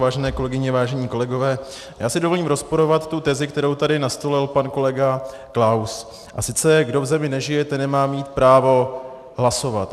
Vážené kolegyně, vážení kolegové, já si dovolím rozporovat tu tezi, kterou tady nastolil pan kolega Klaus, a sice, kdo v zemi nežije, ten nemá mít právo hlasovat.